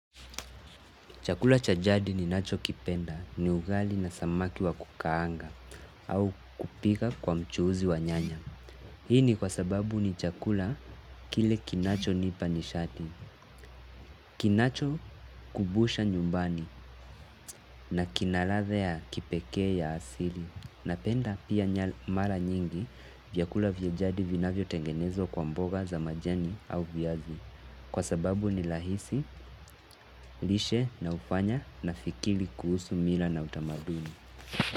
Chakula cha jadi ninachokipenda ni ugali na samaki wa kukaanga au kupika kwa mchuuzi wa nyanya. Hii ni kwa sababu ni chakula kile kinachonipa nishati. Kinachokumbusha nyumbani na kina ladha kipekee ya asili. Napenda pia mara nyingi vyakula vya jadi vinavyotengenezwa kwa mboga za majani au viazi. Kwa sababu ni rahisi, lishe na hufanya nafikiri kuhusu mila na utamaduni.